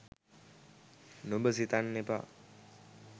නුඹ සිතන්න එපා